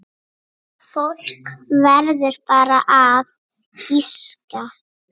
Fólk verður bara að giska.